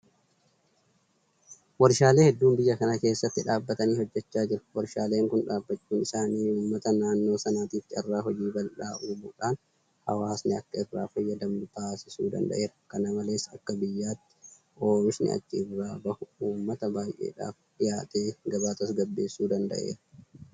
Warshaalee hedduun biyya kana keessatti dhaabbatanii hojjechaa jiru. Warshaaleen kun dhaabbachuun isaanii uummata naannoo sanaatiif carraa hojii bal'aa uumuudhaan hawaasni akka irraa fayyadamu taasisuu danda'eera. Kana malees akka biyyaatti oomishni achi irraa bahu uummata baay'eedhaaf dhiyaatee gabaa tasgabbeessuu danda'eera.